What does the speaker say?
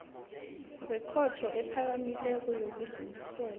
wekhotho ephakamileko yokudlulisela